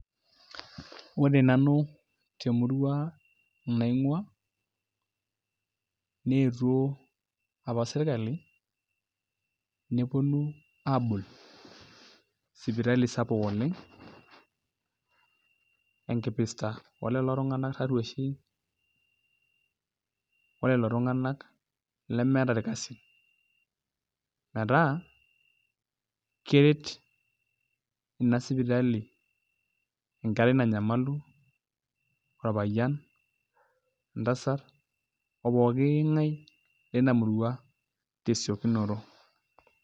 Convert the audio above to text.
Ore nanu temurua naing'uaa neetuo apa sirkali neponu aabol sipitali sapuk oleng' enkipirta olelo tung'anak tarruoshi olelo tung'anak lemeeta irkasin metaa keret ina sipitali enkerai nanyamalu orpayian entasat opooki ng'ae lina murua tesiokinoto.